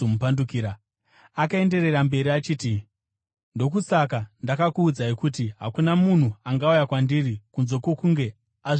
Akaenderera mberi achiti, “Ndokusaka ndakuudzai kuti hakuna munhu angauya kwandiri kunze kwokunge azvipiwa naBaba.”